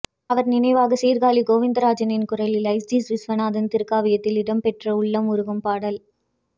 அவர் நினைவாக சீர்காழி கோவிந்த ராஜன் குரலில் ஜஸ்டிஸ் விஸ்வநாதன் திரைக்காவியத்தில் இடம் பெற்ற உள்ளம் உருக்கும் பாடல்